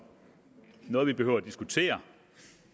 noget vi behøver at diskutere